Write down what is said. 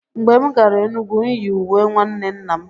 Mgbe m gara Enugwu, m yi uwe nwanne nna m.